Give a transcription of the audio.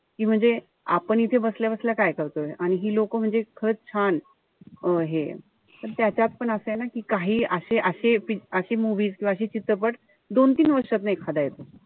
कि म्हणजे आपण इथे बसल्या-बसल्या काय करतोय. आणि हि लोक म्हणजे खरंच छान. अं हेय. त्या त्यातपण असंय ना कि काही अशा अशे अशे movies किंवा अशे चित्रपट दोन-तीन वर्षातनं एखादा येतो.